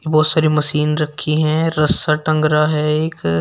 बहुत सारे मशीन रखी है रस्सा टंगा है एक--